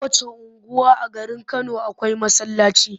Kowacce unguwa a garin Kano akwai masallaci.